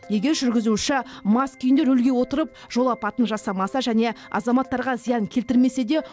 егер жүргізуші мас күйінде рөлге отырып жол апатын жасамаса және азаматтарға зиян келтірмесе де